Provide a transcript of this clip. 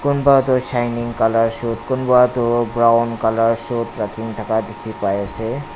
kunba tu shining colour shoot kunba tu brown colour shoot thaka dikhi pai ase.